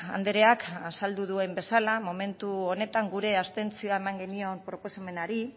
andreak azaldu duen bezala momentu honetan gure abstentzioa eman genion proposamenari